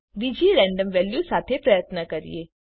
ચાલો બીજી random value સાથે પ્રયત્ન કરીએ